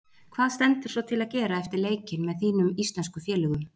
Hvað stendur svo til að gera eftir leikinn með þínum íslensku félögum?